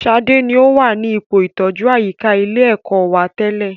Sadé ni o wà ní ipò ìtọjú àyíká ilé ẹ̀kọ́ wa tẹ́lẹ̀